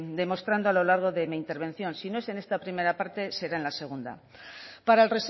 demostrando a lo largo de mi intervención si no es en esta primera parte será en la segunda para el